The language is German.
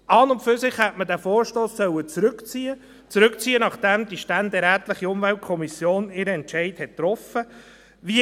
An und für sich hätte man diesen Vorstoss zurückziehen sollen, nachdem die ständerätliche Umweltkommission ihren Entscheid getroffen hat.